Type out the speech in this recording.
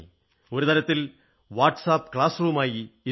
ഒരു തരത്തിൽ WhatsApp class റൂമായി മാറി